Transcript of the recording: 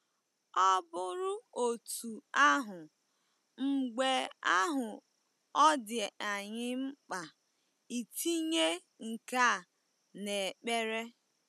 Ọ bụrụ otú ahụ, mgbe ahụ ọ dị anyị mkpa itinye nke a n’ekpere.